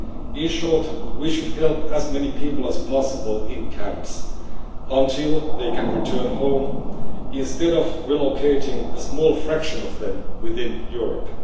In short, we should help as many people as possible in camps until they can return home, instead of relocating a small fraction of them within Europe.